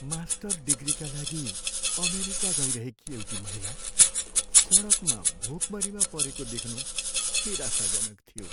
Master डिग्रीका लागि America गइरहेकी एउटी महिला सडकमा भोकमरीमा परेको देख्नु निराशाजनक थियो।